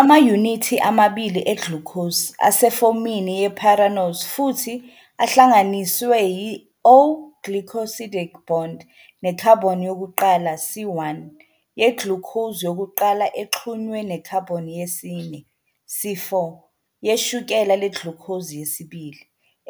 Amayunithi amabili eglucose asefomini ye-pyranose futhi ahlanganiswe yi-O-glycosidic bond, ne-carbon yokuqala, C1, yeglucose yokuqala exhunywe ne-carbon yesine, C4, yeshukela le-glucose yesibili,